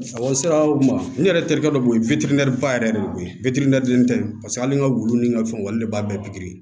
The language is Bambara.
n sera o ma n yɛrɛ terikɛ dɔ b'o yen ba yɛrɛ de bɛ ko ye tɛ paseke hali n ka wulu ni n ka fɛnw olu de b'a bɛɛ pikiri